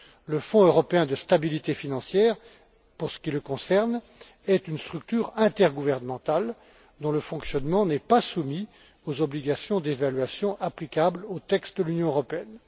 Le Fonds européen de stabilité financière, pour ce qui le concerne, est une structure intergouvernementale dont le fonctionnement n'est pas soumis aux obligations d'évaluation applicables au texte de l'Union européenne.